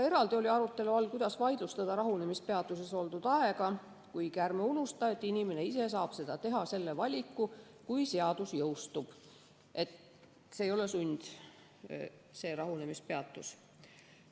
Eraldi oli arutelu all, kuidas vaidlustada rahunemispeatuses oldud aega, kuigi ärme unustame, et inimene ise saab teha selle valiku, kui seadus jõustub, see rahunemispeatus ei ole sund.